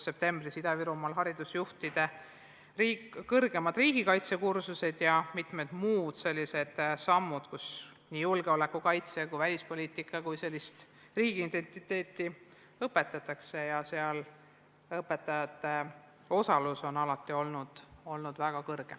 Septembris toimusid Ida-Virumaal haridusjuhtide kõrgemad riigikaitse kursused ja on mitmed muud sellised sammud, et õpetatakse nii julgeolekukaitset, välispoliitikat kui ka riigiidentiteeti, ning õpetajate osalus on alati olnud väga suur.